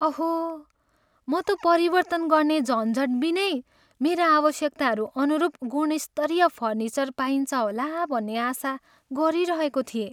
अहो! म त परिवर्तन गर्ने झन्झट बिनै मेरा आवश्यकताहरू अनुरूप गुणस्तरीय फर्निचर पाइन्छ होला भन्ने आशा गरिरहेको थिएँ।